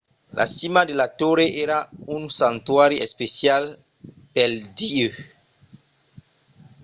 la cima de la torre èra un santuari especial pel dieu